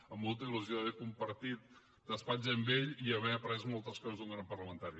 amb molta il·lusió d’haver compartit despatx amb ell i haver après moltes coses d’un gran parlamentari